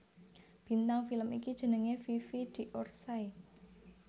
Bintang film iki jenengé Fifi d Orsay